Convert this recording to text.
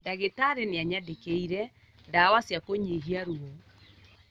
Ndagĩtarĩ nĩanyandĩkĩire ndawa cia kũnyihia ruo